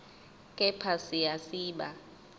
kepha siya siba